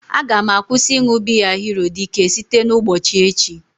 Aga m akwụsị ịṅụ biya hero dike site ụgbochi echi